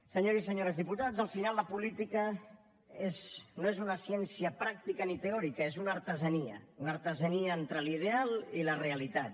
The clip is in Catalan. senyors i senyores diputats al final la política no és una ciència pràctica ni teòrica és una artesania una artesania entre l’ideal i la realitat